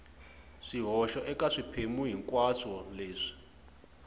swihoxo eka swiphemu hinkwaswo leswi